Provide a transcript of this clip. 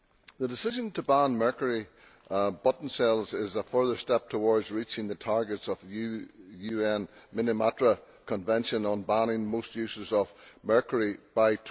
The decision to ban mercury button cells is a further step towards reaching the targets of the UN Minamata Convention on banning most uses of mercury by